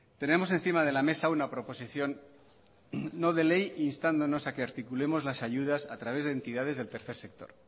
tenemos encima de la mesa una proposición no de ley instándonos a que articulemos las ayudas a través de entidades del tercer sector